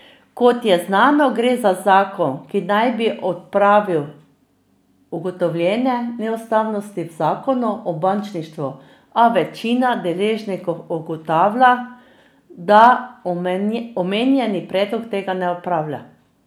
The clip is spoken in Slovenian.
Kot je znano, gre za zakon, ki naj bi odpravil ugotovljene neustavnosti v zakonu o bančništvu, a večina deležnikov ugotavlja, da omenjeni predlog tega ne odpravlja.